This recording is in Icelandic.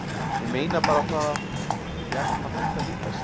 Ég meina bara það að. við ættum að hætta að hittast.